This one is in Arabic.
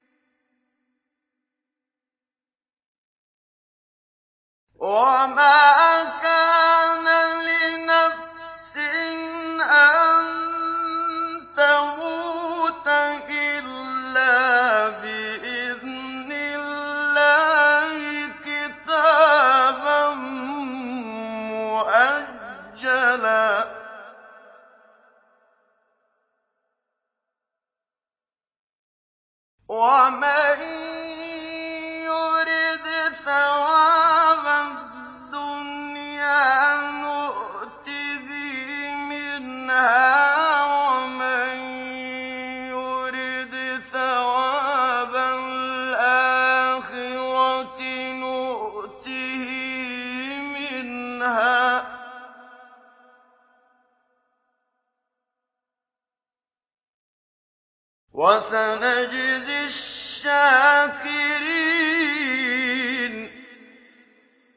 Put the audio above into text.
وَمَا كَانَ لِنَفْسٍ أَن تَمُوتَ إِلَّا بِإِذْنِ اللَّهِ كِتَابًا مُّؤَجَّلًا ۗ وَمَن يُرِدْ ثَوَابَ الدُّنْيَا نُؤْتِهِ مِنْهَا وَمَن يُرِدْ ثَوَابَ الْآخِرَةِ نُؤْتِهِ مِنْهَا ۚ وَسَنَجْزِي الشَّاكِرِينَ